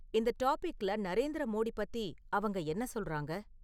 இந்த டாபிக்ல நரேந்திர மோடி பத்தி அவங்க என்ன சொல்றாங்க?